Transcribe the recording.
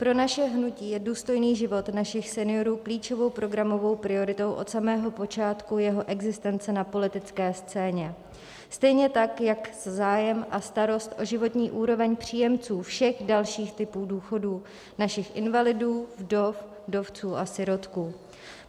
Pro naše hnutí je důstojný život našich seniorů klíčovou programovou prioritou od samého počátku jeho existence na politické scéně, stejně tak jak zájem a starost o životní úroveň příjemců všech dalších typů důchodů - našich invalidů, vdov, vdovců a sirotků.